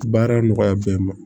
Baara nɔgɔya bɛɛ ma